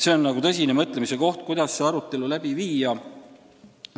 See on tõsise mõtlemise teema, kuidas see arutelu läbi viia.